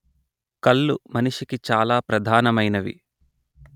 కళ్ళు మనిషికి చాల ప్రధానమైనవి